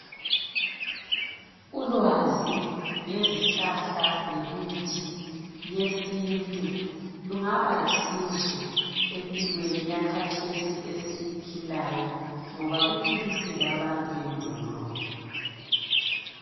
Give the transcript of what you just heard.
Ulwazi ngezihlahla lemithi yesintu lungaba lusizo empilweni yakathesi esiyiphilayo ngoba luphilisille abantu endulo.